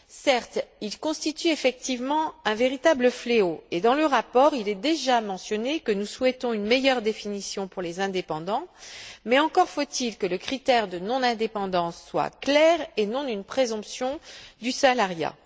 Certes, ceux ci constituent effectivement un véritable fléau et, dans le rapport, il est déjà mentionné que nous souhaitons une meilleure définition pour les indépendants, mais encore faut il que le critère de non indépendance soit clair, et non une présomption du salariat.